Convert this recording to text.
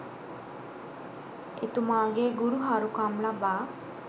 එතුමාගේ ගුරු හරුකම් ලබා